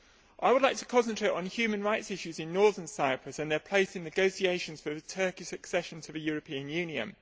I would like to concentrate on human rights issues in Northern Cyprus and their place in negotiations for Turkey's accession to the European Union.